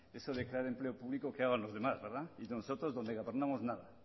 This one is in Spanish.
eso de crear empleo público que hagan los demás y nosotros donde gobernamos nada